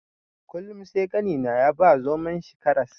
Kullum sai ƙanina ya ba zomon shi karas.